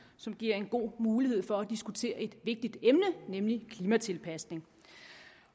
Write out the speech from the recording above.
som giver en god mulighed for at diskutere et vigtigt emne nemlig klimatilpasning